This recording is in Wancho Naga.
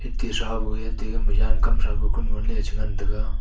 ke sabue te gama Jan kamthra kunon ley chi ngan taiga.